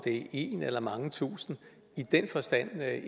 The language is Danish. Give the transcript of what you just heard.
én eller mange tusind i den forstand